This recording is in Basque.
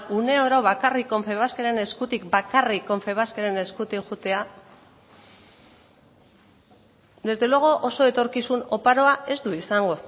une oro bakarrik confebaskeren eskutik bakarrik bakarrik confebaskeren eskutik joatea desde luego oso etorkizun oparoa ez du izango